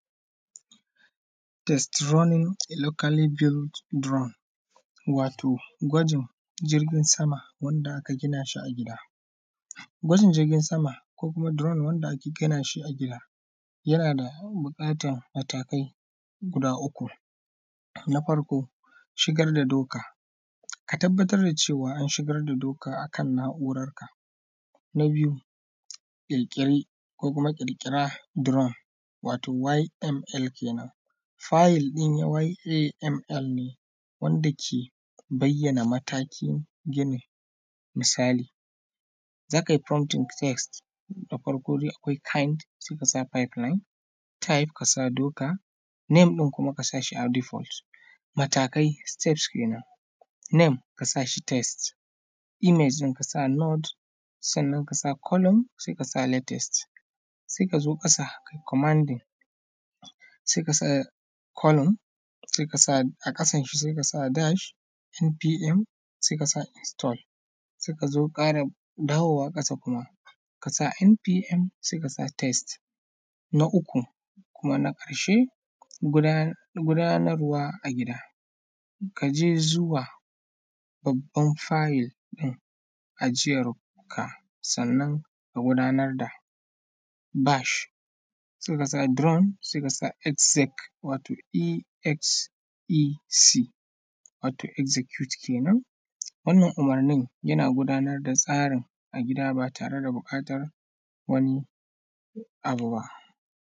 Test running locally build drone, Wato gwajin jirgin sama wanda aka gina shi a gida. Gwajin jirgin sama ko kuma duron wanda ake gina shi a gida, yana da buƙatan matakai guda uku. Na farko, shigar da doka, a tabbatar da cewa an shigar da doka akan na’urarka. Na biyu, kekel ko kuma ƙirƙira duron, wato YML kenen fayel din YML wanda ke bayyana matakin ginin. Misali za kai prompting text da farko dai akwai sai kasa five anan type sai kasa duka name din kuma kasa shi a matakai step kenan name kasa shi text image kasa not sannan kasa column sai kasa letters. Sai ka zo kasa kai commanding sai column sai kasa a ƙasan shi sai kasa dash NPM sai kasa Install, sai ka zo karam, dawowa kasa kuma kasa NPM sai kasa text Na uku kuma na ƙarshe guda gudanarwa a gida kaje zuwa babban file din aji yar duko sannan ka gudanar da dash sai kasa drone sai kasa esxec wato execute kenen. Wannan umurnin yana gudanar da tsarin a gida ba tare da buƙatar wani abu ba.